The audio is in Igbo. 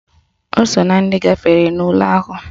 O so na ndị gafere n'ule ahụ?